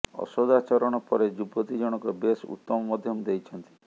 ଅସଦାଚରଣ ପରେ ଯୁବତୀ ଜଣକ ବେଶ୍ ଉତ୍ତମ ମଧ୍ୟମ ଦେଇଛନ୍ତି